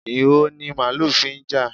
Ìho ni màálù fi ń jà.